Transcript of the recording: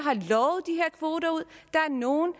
nogle